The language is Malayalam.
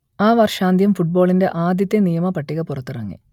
ആ വർഷാന്ത്യം ഫുട്ബോളിന്റെ ആദ്യത്തെ നിയമ പട്ടിക പുറത്തിറങ്ങി